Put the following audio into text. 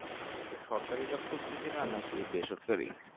তো সরকারি job খুসতেসিলা না কি বেসরকারি?